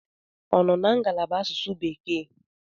Ọ nọ na ngalaba asụsụ bekee?